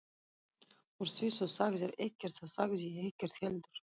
Úr því þú sagðir ekkert þá sagði ég ekkert heldur.